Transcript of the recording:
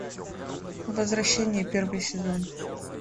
возвращение первый сезон